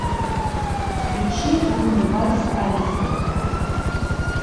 включи лунный вальс алисы